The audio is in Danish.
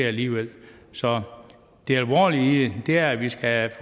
alligevel så det alvorlige i det er at vi skal